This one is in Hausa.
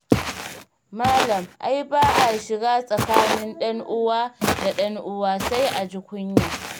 Malam, ai ba a shiga tsakanin ɗan'uwa da ɗan'uwa, sai a ji kunya.